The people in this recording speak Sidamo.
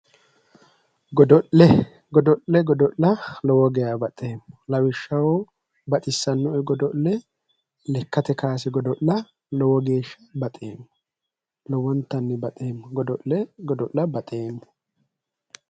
Godo'le godo'le godo'la lowo geeshsha baxeemmo lawishshaho baxissannoe godo'le lekkate kaase godo'la lowo geeshsha baxeemmo lowontanni baxeemmo godo'le godo'la baxeemmo